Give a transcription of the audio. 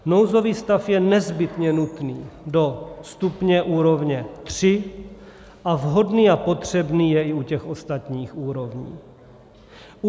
Nouzový stav je nezbytně nutný do stupně úrovně 3 a vhodný a potřebný je i u těch ostatních úrovní.